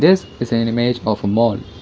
this is an image of mall.